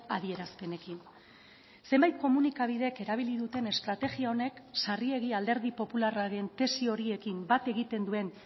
adierazpenekin zenbait komunikabidek erabili duten estrategia honek sarriegi alderdi popularraren tesi horiekin bat egiten duen